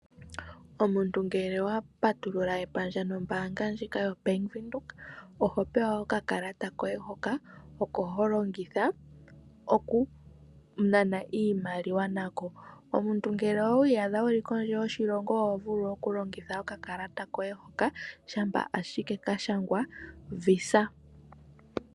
Omuntu ngele owa patulula epandja nombaanga ndjika yoBank Windhoek, oho pewa okakalata koye hoka oko ho longitha okunana iimaliwa nako. Omuntu ngele owi iyadha wu li kondje yoshilongo oho vulu okulongitha okakalata koye hoka, shampa shike ka shangwa visa.